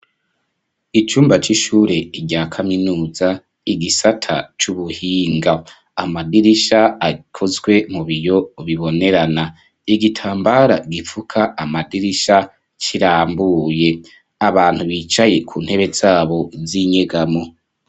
Icumba c'ishure, rya kaminuza, igisata c'ubuhinga; amadirisha akozwe mu biyo, bibonerana; igitambara gipfuka amadirisha, kirambuye; abantu bicaye ku ntebe zabo, z'inyegamo.